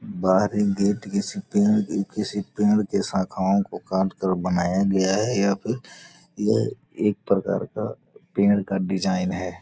बाहर एक गेट किसी पेड़ की शाखाओ को काट के बनाया गया है या फिर यह एक प्रकार का पेड़ का डिजाइन है।